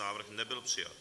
Návrh nebyl přijat.